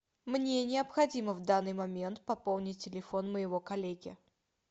мне необходимо в данный момент пополнить телефон моего коллеги